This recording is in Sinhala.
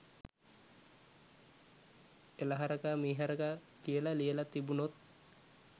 එල හරකා මීහරකා කියල ලියල තිබුනොත්